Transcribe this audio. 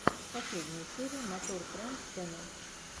последняя серия мотор тренд ченнел